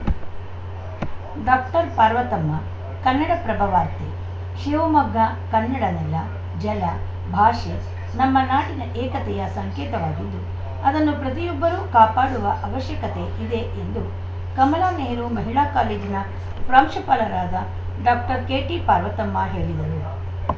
doctor Parvathamma Kannadaprabha ವಾರ್ತೆ ಶಿವಮೊಗ್ಗ ಕನ್ನಡ ನೆಲ ಜಲ ಭಾಷೆ ನಮ್ಮ ನಾಡಿನ ಏಕತೆಯ ಸಂಕೇತವಾಗಿದ್ದು ಅದನ್ನು ಪ್ರತಿಯೊಬ್ಬರೂ ಕಾಪಾಡುವ ಅವಶ್ಯಕತೆ ಇದೆ ಎಂದು ಕಮಲಾ ನೆಹರು ಮಹಿಳಾ ಕಾಲೇಜಿನ ಪ್ರಾಂಶುಪಾಲರಾದ ಡಾಕ್ಟರ್ ಕೆಟಿ ಪಾರ್ವತಮ್ಮ ಹೇಳಿದರು